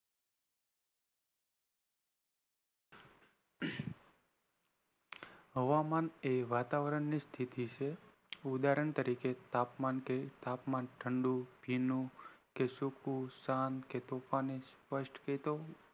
હવામાન એ વાતાવરની સ્થિતિ છે ઉદાહરણ તરીકે તાપમાન ઠંડુ કે ભીનું કે શુકુ કે શાંત કે તુફાની સ્પષ્ટ કહી દઉં